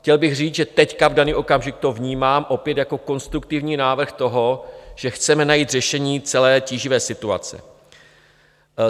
Chtěl bych říct, že teď, v daný okamžik, to vnímám opět jako konstruktivní návrh toho, že chceme najít řešení celé tíživé situace.